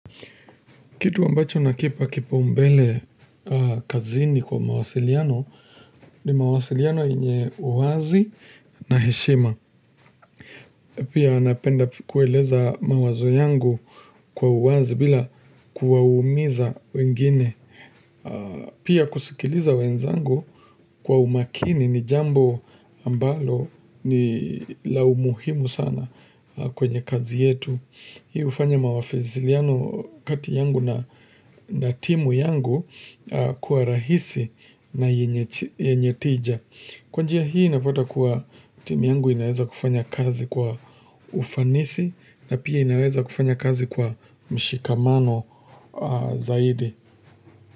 Kitu ambacho nakipa kipaumbele kazini kwa mawasiliano ni mawasiliano yenye uwazi na heshima. Pia napenda kueleza mawazo yangu kwa uwazi bila kuwa umiza wengine. Pia kusikiliza wenzangu kwa umakini ni jambo ambalo ni la umuhimu sana kwenye kazi yetu. Hii ufanya mawasiliano kati yangu na timu yangu kuwa rahisi na yenye tija. Kwanjia hii napata kuwa timu yangu inaweza kufanya kazi kwa ufanisi na pia inaweza kufanya kazi kwa mshikamano zaidi.